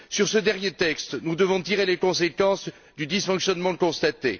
Sur ce dernier texte, nous devons tirer les conséquences du dysfonctionnement constaté.